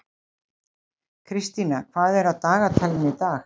Kristína, hvað er á dagatalinu í dag?